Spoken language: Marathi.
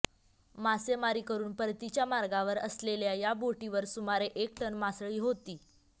मासेमारी करून परतीच्या मार्गावर असलेल्या या बोटीवर सुमारे एक टन मासळी होती